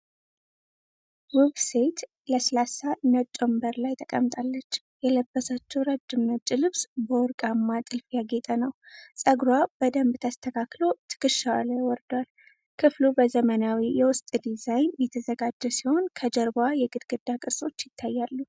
ውብ ሴት ለስላሳ ነጭ ወንበር ላይ ተቀምጣለች። የለበሰችው ረጅም ነጭ ልብስ በወርቃማ ጥልፍ ያጌጠ ነው። ጸጉሯ በደንብ ተስተካክሎ ትከሻዋ ላይ ወርዷል። ክፍሉ በዘመናዊ የውስጥ ዲዛይን የተዘጋጀ ሲሆን ከጀርባዋ የግድግዳ ቅርጾች አሉ።